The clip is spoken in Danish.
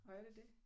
Nåh er det det?